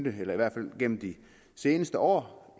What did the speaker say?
i hvert fald gennem de seneste år